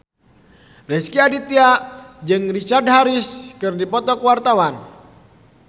Rezky Aditya jeung Richard Harris keur dipoto ku wartawan